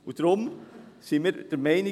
Deshalb sind wir von der EVP der Meinung: